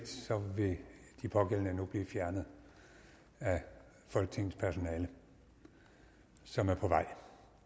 vil de pågældende nu blive fjernet af folketingets personale som er på vej